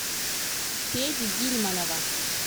феди гильманова